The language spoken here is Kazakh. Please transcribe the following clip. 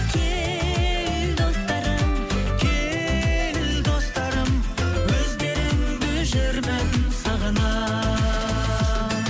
кел достарым кел достарым өздеріңді жүрмін сағына